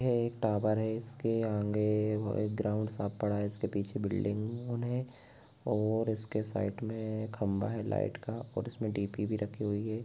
यह एक टावर है इस के आगे एक ग्राउन्ड साफ पड़ा है और इस के पीछे बिल्डिंग मे और इस के साइड मे खंबा है लाइट का और इस मे डि_पी भी रखी हुई है।